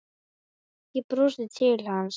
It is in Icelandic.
Ég brosi til hans.